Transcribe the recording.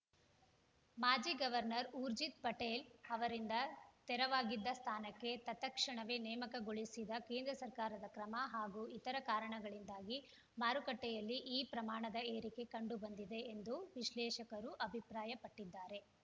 ಮಾಜಿ ಗವರ್ನರ್‌ ಊರ್ಜಿತ್‌ ಪಟೇಲ್‌ ಅವರಿಂದ ತೆರವಾಗಿದ್ದ ಸ್ಥಾನಕ್ಕೆ ತತ್‌ಕ್ಷಣವೇ ನೇಮಕಗೊಳಿಸಿದ ಕೇಂದ್ರ ಸರ್ಕಾರದ ಕ್ರಮ ಹಾಗೂ ಇತರ ಕಾರಣಗಳಿಂದಾಗಿ ಮಾರುಕಟ್ಟೆಯಲ್ಲಿ ಈ ಪ್ರಮಾಣದ ಏರಿಕೆ ಕಂಡುಬಂದಿದೆ ಎಂದು ವಿಶ್ಲೇಷಕರು ಅಭಿಪ್ರಾಯಪಟ್ಟಿದ್ದಾರೆ